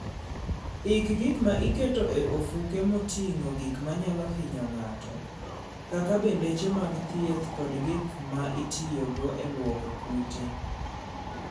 Ik gik ma iketo e ofuko moting'o gik manyalo hinyo ng'ato, kaka bendeche mag thieth kod gik ma itiyogo e lwoko kute.